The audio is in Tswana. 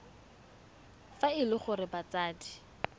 fa e le gore batsadi